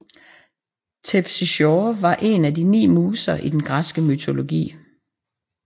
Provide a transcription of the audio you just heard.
Terpsichore var en af de ni muser i den græske mytologi